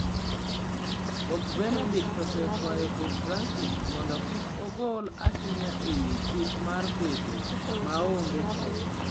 Pop Benedict osekwayo Pop Francis mondo kik ogol ohinga ewi chik mar bedo maonge keny